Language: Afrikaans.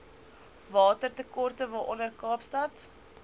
watertekorte waaronder kaapstad